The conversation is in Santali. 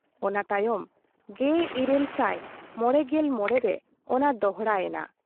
ᱚᱱᱟ ᱛᱟᱭᱚᱢ 1855 ᱨᱮ ᱚᱱᱟ ᱫᱚᱦᱲᱟᱭᱮᱱᱟ ᱾